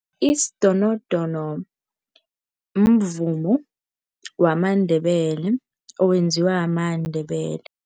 Isidonodono mvumo wamaNdebele owenziwa maNdebele.